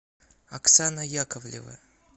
оксана яковлева